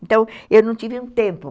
Então, eu não tive um tempo.